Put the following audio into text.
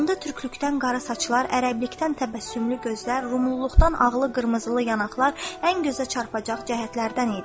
Onda türklükdən qara saçlar, ərəblikdən təbəssümlü gözlər, rumluluqdan ağlı qırmızılı yanaqlar ən gözə çarpacaq cəhətlərdən idi.